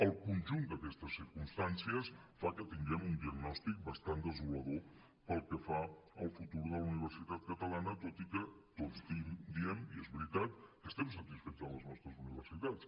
el conjunt d’aquestes circumstàncies fa que tinguem un diagnòstic bastant desolador pel que fa al futur de la universitat catalana tot i que tots diem i és veritat que estem satisfets de les nostres universitats